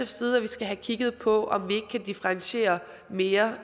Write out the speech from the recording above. side at vi skal have kigget på om vi kan differentiere mere